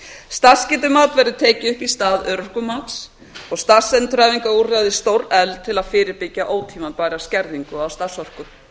starfsgetumat verður takið upp í stað örorkumats og starfsendurhæfingarúrræði stórefld til að fyrirbyggja ótímabæra skerðingu á starfsorku